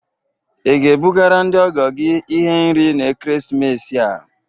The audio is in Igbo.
Ị ga-ebugara ndị ọgọ gị ihe nri na ekeresimesi a?